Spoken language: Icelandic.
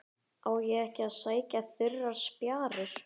Á ég ekki að sækja þurrar spjarir?